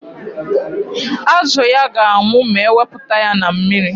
Azụ ya ga-anwụ ma ewepụta ya na mmiri.